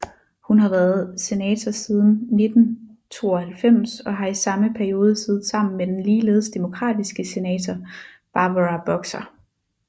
Hun har været senator siden 1992 og har i samme periode siddet sammen med den ligeledes demokratiske senator Barbara Boxer